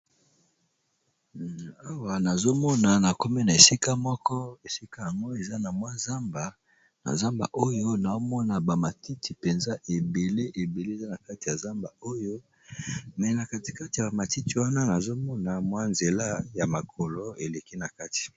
Awa nazomona na kome na esika moko esika yango eza na mwa zamba na zamba oyo naomona bamatiti mpenza ebele ebele eza na kati ya zamba oyo me na katikate ya bamatiti wana nazomona mwa nzela ya makolo eleki na kati.